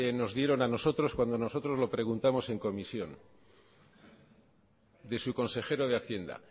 nos dieron a nosotros cuando nosotros lo preguntamos en comisión de su consejero de hacienda